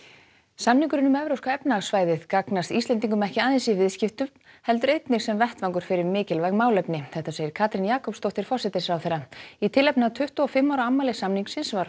samningurinn um evrópska efnahagssvæðið gagnast Íslendingum ekki aðeins í viðskiptum heldur einnig sem vettvangur fyrir mikilvæg málefni segir Katrín Jakobsdóttir forsætisráðherra í tilefni af tuttugu og fimm ára afmæli samningsins var